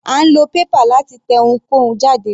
A nílò paper láti tẹ ohunkóhun jáde.